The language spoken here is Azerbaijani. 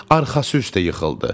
Arxası üstə yıxıldı.